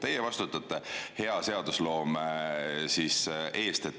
Teie vastutate hea seadusloome eest.